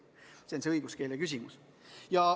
Selles seisnebki õiguskeele küsimus.